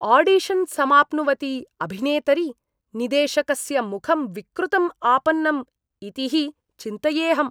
Audition समाप्नुवति अभिनेतरि निदेशकस्य मुखं विकृतम् आपन्नम् इति हि चिन्तयेऽहम्।